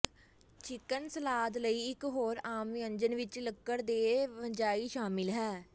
chicken salad ਲਈ ਇੱਕ ਹੋਰ ਆਮ ਵਿਅੰਜਨ ਵਿੱਚ ਲੱਕੜ ਦੇ ਫੰਜਾਈ ਸ਼ਾਮਿਲ ਹੈ